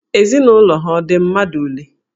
Ezinụlọ ha ọ dị mmadụ ole?